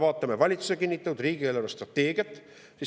Vaatame valitsuse kinnitatud riigi eelarvestrateegiat.